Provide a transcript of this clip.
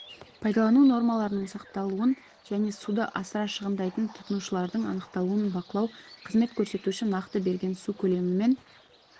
пайдалану нормаларының сақталуын және суды асыра шығындайтын тұтынушылардың анықталуын бақылау қызмет көрсетуші нақты берген су көлемімен